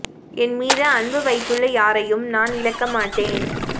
என் மீது அன்பு வைத்துள்ள யாரையும் நான் இழக்க மாட்டேன்